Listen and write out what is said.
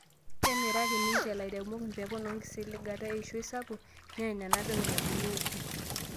Kemiraki ninche lairemok mpekun o enkisiligata eishoi sapuk, neeny nena pekun ebulu oopi